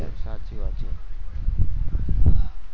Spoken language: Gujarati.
સાચી વાત છે